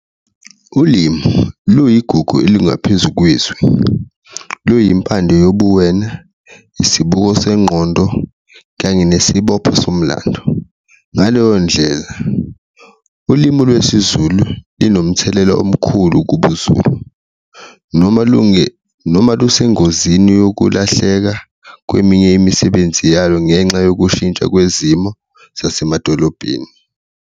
Ulimu luyigugu elingaphezu kwethu, luyimpande yobuwena, isibuko sengqondo, kanye nesibopho somlando ngaleyo ndlela ulimu lwesiZulu linomthelela omkhulu kubuZulu noma noma lusengozini yokulahleka kweminye imisebenzi yalo, ngenxa yokushintsha kwezimo zasemadolobheni.